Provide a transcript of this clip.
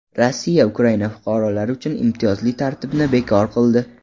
Rossiya Ukraina fuqarolari uchun imtiyozli tartibni bekor qildi.